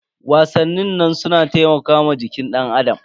Wasannin su na taimakawa jikin danAdam.